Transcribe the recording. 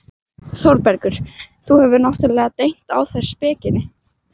ÞÓRBERGUR: Þú hefur náttúrlega dengt á þær spekinni.